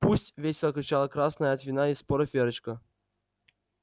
пусть весело кричала красная от вина и споров верочка